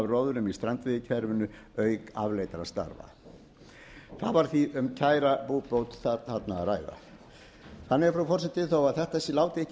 róðrum í strandveiðikerfinu auk afleiddra starfa það var því um kæra búbót þarna að ræða þannig frú forseti þó þetta láti ekki